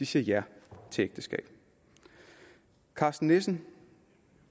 siger ja til ægteskab karsten nissen